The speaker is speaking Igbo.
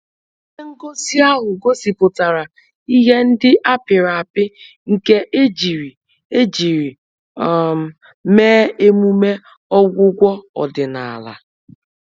Ihe ngosi ahụ gosipụtara ihe ndị a pịrị apị nke ejiri ejiri um mee emume ọgwụgwọ ọdịnala